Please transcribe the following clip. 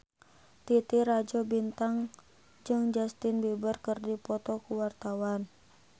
Titi Rajo Bintang jeung Justin Beiber keur dipoto ku wartawan